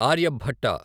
Aryabhata